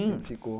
Já ficou?